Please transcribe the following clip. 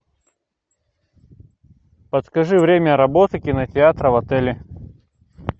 подскажи время работы кинотеатра в отеле